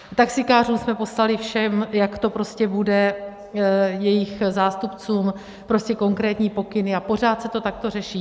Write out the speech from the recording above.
Taxikářům jsme poslali všem, jak to prostě bude, jejich zástupcům, prostě konkrétní pokyny a pořád se to takto řeší.